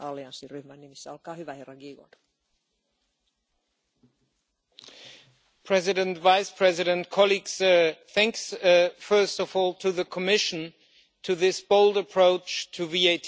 Madam President, Vice President, colleagues, thanks first of all to the Commission for this bold approach to VAT.